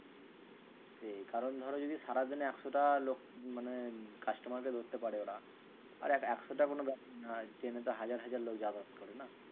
সেই কারণ ধরো যদি সারাদিনে একশোটা লোক মানে customer কে ধরতে পারে ওরা আরে একশোটা কোনো ব্যাপার নয়। ট্রেনে তো হাজার হাজার লোক যাতায়াত করে না?